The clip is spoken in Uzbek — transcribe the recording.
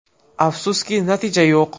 Afsuski, natija yo‘q.